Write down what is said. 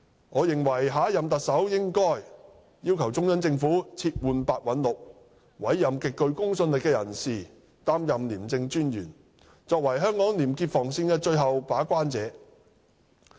我認為下任特首應要求中央政府撤換白韞六，委任極具公信力的人士擔任廉政專員，作為香港廉潔防線的最後把關者。